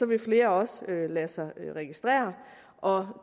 vil flere også lade sig registrere og